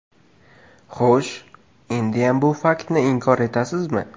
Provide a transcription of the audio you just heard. Xo‘sh, endiyam bu faktni inkor etasizmi?